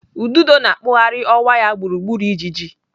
Ududo na-akpụgharị ọwa ya gburugburu ijiji.